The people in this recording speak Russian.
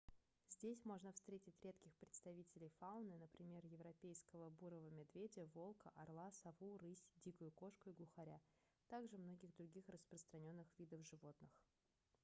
здесь можно встретить редких представителей фауны например европейского бурого медведя волка орла сову рысь дикую кошку и глухаря а также многих других распространённых видов животных